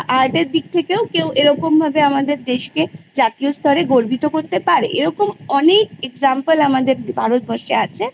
Art এর দিক থেকেও কেউ এরকম ভাবে আমদের দেশকে জাতীয় স্তরে গর্বিত করতে পারে এরকম অনেক Example আমাদের ভারতবর্ষে আছে